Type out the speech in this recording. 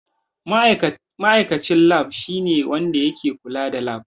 Ma'aikacin Lab shine wanda ke kula da lab.